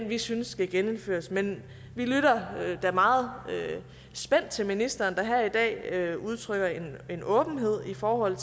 vi synes skal genindføres men vi lytter da meget spændt til ministeren der her i dag udtrykker en en åbenhed i forhold